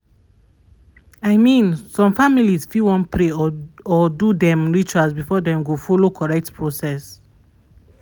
i mean some families fit wan pray or or do dem rituals before dem go follow correct process.